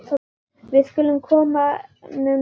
Við skulum koma honum inn!